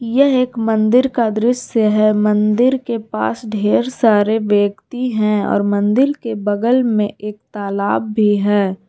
यह एक मंदिर का दृश्य है मंदिर के पास ढेर सारे व्यक्ति हैं और मंदिर के बगल में एक तालाब भी है।